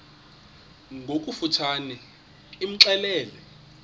ngokofu tshane imxelele